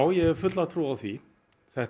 ég hef trú á því þetta